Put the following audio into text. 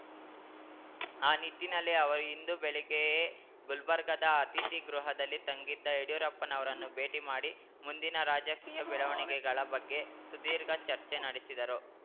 ಆ ನಿಟ್ಟಿನಲ್ಲಿ ಅವರು ಇಂದು ಬೆಳಿಗ್ಗೆಯೇ ಗುಲ್ಬರ್ಗಾದ ಅತಿಥಿಗೃಹದಲ್ಲಿ ತಂಗಿದ್ದ ಯಡಿಯೂರಪ್ಪನವರನ್ನು ಭೇಟಿ ಮಾಡಿ ಮುಂದಿನ ರಾಜಕೀಯ ಬೆಳವಣಿಗೆಗಳ ಬಗ್ಗೆ ಸುದೀರ್ಘ ಚರ್ಚೆ ನಡೆಸಿದರು